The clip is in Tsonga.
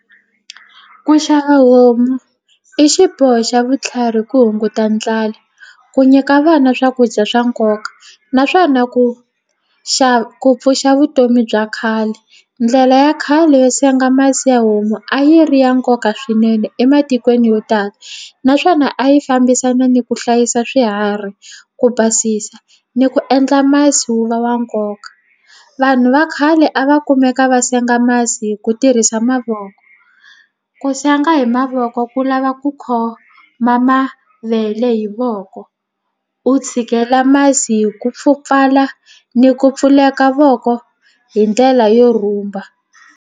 Ku xava homu i xiboho xa vutlhari ku hunguta ndlala ku nyika vana swakudya swa nkoka naswona ku ku pfuxa vutomi bya khale ndlela ya khale yo senga masi ya homu a yi ri ya nkoka swinene ematikweni yo tala naswona a yi fambisana ni ku hlayisa swiharhi ku basisa ni ku endla masi wu va wa nkoka vanhu va khale a va kumeka va senga masi hi ku tirhisa mavoko ku senga hi mavoko ku lava ku khoma mavele hi voko u tshikela masi hi ku pfukala ni ku pfuleka voko hi ndlela yo rhumba.